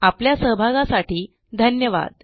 आपल्या सहभागासाठी धन्यवाद